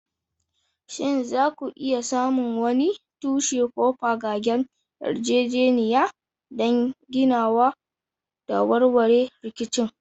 Shin za ku iya samun wani tushe ko fagagen yarjejeniya don ginawa da warware rikicin?